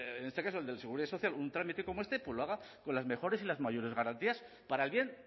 en este caso el de la seguridad social un trámite como este lo haga con las mejores y las mayores garantías para el bien